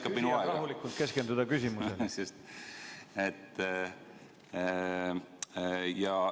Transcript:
Laseme küsijal rahulikult keskenduda küsimusele.